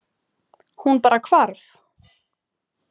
Hún bara hvarf.